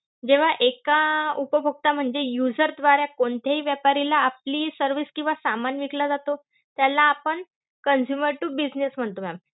जेव्हा अं एका उपभोक्ता म्हणजे user द्वारे कोणत्याही व्यापारीला आपली service किंवा सामान विकला जातो, त्याला आपण consumer to business म्हणतो ma'am.